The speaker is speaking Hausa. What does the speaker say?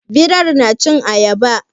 Birai na cin ayaba?